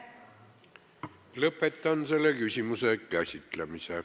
Lõpetan selle küsimuse käsitlemise.